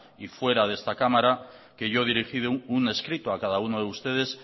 y fuera de esta cámara que yo he dirigido un escrito a cada uno de ustedes